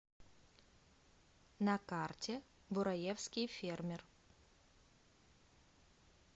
на карте бураевский фермер